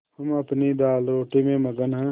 हम अपनी दालरोटी में मगन हैं